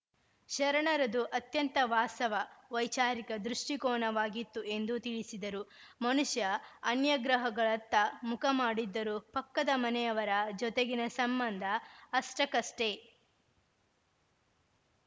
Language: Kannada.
ಶರಣರದು ಅತ್ಯಂತ ವಾಸ್ತವ ವೈಚಾರಿಕ ದೃಷ್ಟಿಕೋನವಾಗಿತ್ತು ಎಂದು ತಿಳಿಸಿದರು ಮನುಷ್ಯ ಅನ್ಯಗ್ರಹಗಳತ್ತ ಮುಖ ಮಾಡಿದ್ದರೂ ಪಕ್ಕದ ಮನೆಯವರ ಜೊತೆಗಿನ ಸಂಬಂಧ ಅಷ್ಟಕ್ಕಷ್ಟೇ